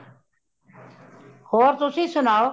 ਹੋਰ ਤੁਸੀਂ ਸੁਣਾਓ